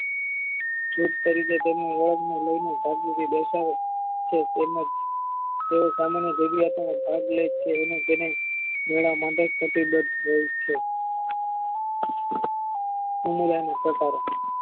ચૂપ કરીકે તેમને ઓળાંગને લઈને શાંતિથી બેસાડે છે તેમના સામાન્ય ગજુવાતોમાં સ્થાન લેય છે અને તેને મેળામાં ગતિબજ થતી હોય છે સમુદાયના પ્રકારો